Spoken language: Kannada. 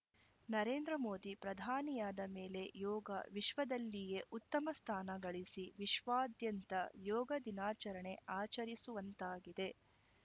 ನರೇಂದ್ರ ಮೋದಿ ಪ್ರಧಾನಿಯಾದ ಮೇಲೆ ಯೋಗ ವಿಶ್ವದಲ್ಲಿಯೇ ಉತ್ತಮ ಸ್ಥಾನ ಗಳಿಸಿ ವಿಶ್ವಾದ್ಯಂತ ಯೋಗ ದಿನಾಚರಣೆ ಆಚರಿಸುವಂತಾಗಿದೆ